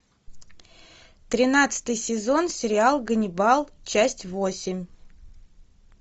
тринадцатый сезон сериал ганнибал часть восемь